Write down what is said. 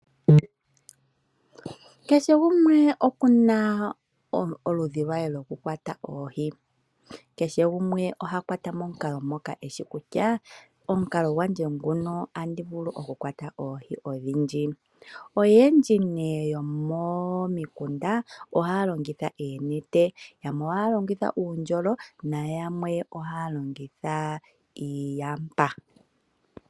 Kehe gumwe okuna omukalo gwe gwokukwata oohi, kehe gumwe oha kwata momukalo moka eye wete kutya ota gu mu pe oohi odhindji . Oyendji yomomikunda ohaya longitha oonete, uundjolo noyamwe ohaya longitha wo iiyapa.